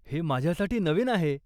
हे माझ्यासाठी नवीन आहे.